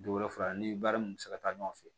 Don wɛrɛ filɛ ni baara mun bɛ se ka taa ɲɔgɔn fɛ